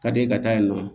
Ka di e ka yen nɔ